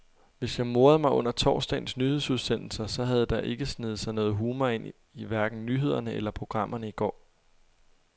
Hvis jeg morede mig under torsdagens nyhedsudsendelser, så havde der ikke sneget sig noget humor ind i hverken nyhederne eller programmerne i går.